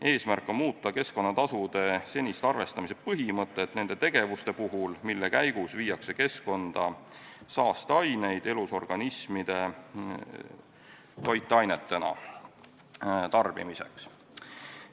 " Eesmärk on muuta keskkonnatasude senist arvestamise põhimõtet nende tegevuste puhul, mille käigus viiakse keskkonda saasteaineid elusorganismidele toitainetena tarbimiseks.